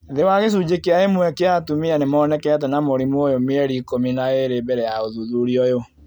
Thĩ wa gĩcunjĩ kĩa ĩmwe kĩa atumia nĩ monekete na mũrimũ ũyũ mĩeri ikũmi na ĩĩrĩ mbere ya ũthuthuria ũyũ